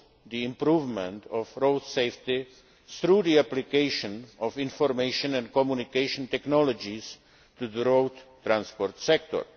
the improvement of road safety through the application of information and communication technologies to the road transport sector.